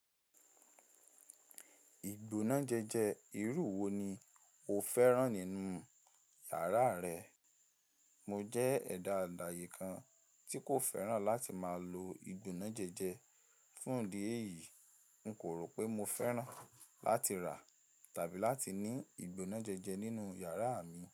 Ìgbónájẹjẹ irú wo ni o fẹ́ràn nínú yàrá rẹ? Mo jẹ́ ẹ̀dá àdàyè kan tí kò fẹ́ràn láti máa lo ìgbónájẹjẹ fún idi eyìí. N kò rò pé mo fẹ́ràn láti rà tàbí láti ní ìgbónájẹjẹ nínú yàrá mi.